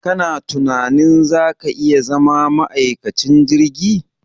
Ka na tunanin za ka iya zama ma'aikacin jirgi?